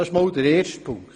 Das ist der erste Punkt.